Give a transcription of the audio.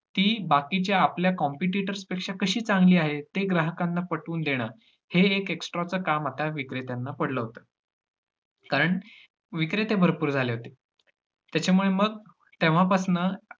ती बाकीच्या आपल्या competitors पेक्षा कशी चांगली आहे, ते ग्राहकांना पटवून देणं. हे एक extra च काम आता विक्रेत्यांना पडलं होतं. कारण विक्रेते भरपूर झाले होते, त्याच्यामुळे मग तेव्हापासनं